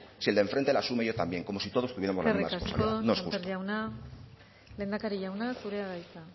si el de enfrente la asume yo también como si todos tuviéramos la misma responsabilidad no es justo eskerrik asko sémper jauna lehendakari jauna zurea da hitza